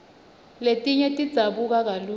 letinye tidzabuka kalula